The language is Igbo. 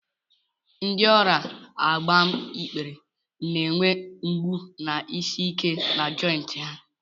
Ndị ọrịa agbaikpere na-enwe mgbu na isi ike na jointị ha.